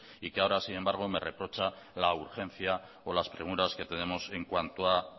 y que ahora sin embargo me reprocha la urgencia o las premuras que tenemos en cuanto a